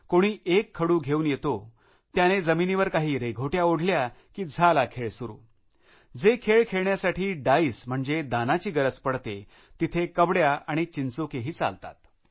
कोणी एक खडू घेऊन येतो त्याने जमिनीवर काही रेघोट्या ओढल्या की झाला खेळ सुरु जे खेळ खेळण्यासाठी डाईस म्हणजे दानाची गरज पडते तिथे कवड्या आणि चिंचोकेही चालतात